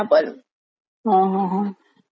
ती हि पण आहे ना? तु चाल पुढं..